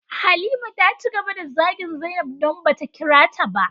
Halima taci gaba da zagin zainab, don bata kirata ba.